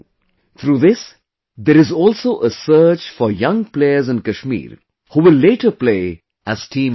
Through this, there is also a search for young players in Kashmir, who will later play as Team India